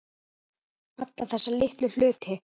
Alla þessa litlu hluti.